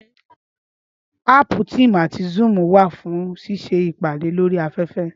Áàpù Teams àti Zoom wà fún ṣíṣe ìpàdé lórí afẹ́fẹ́